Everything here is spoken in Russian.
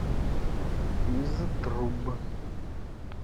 из труб